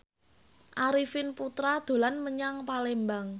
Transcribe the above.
Arifin Putra dolan menyang Palembang